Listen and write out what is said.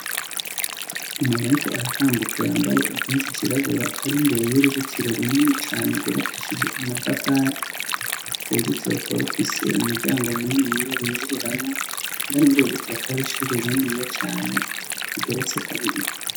Umuntu ariko aratambuka yambaye impuzu zirabura ari mbere y'uruzitiro runini cane rwubakishije amatafari, urwo ruzitiro rukaba rufise umuryango muniniya binjiriramwo indani mururwo ruzitiro hakaba hariho ishuri riniya cane rigeretse kabiri.